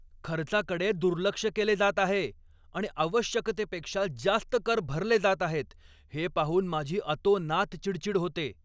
खर्चाकडे दुर्लक्ष केले जात आहे आणि आवश्यकतेपेक्षा जास्त कर भरले जात आहेत हे पाहून माझी अतोनात चिडचीड होते.